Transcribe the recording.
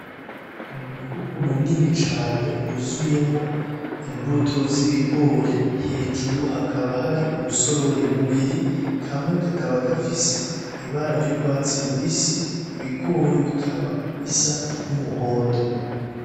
N'umufuko munini cane wuzuyemo imbuto zibigori, hejuru hakaba hari ubusorori bubiri kamwe kakaba gafise ibara ry'urwatsi rubisi ibigori bikaba bisa n'umuhondo.